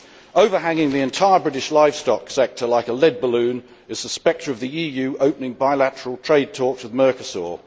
Overhanging the entire British livestock sector like a lead balloon is the spectre of the EU opening bilateral trade talks with Mercosur.